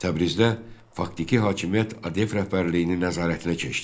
Təbrizdə faktiki hakimiyyət ADF rəhbərliyinin nəzarətinə keçdi.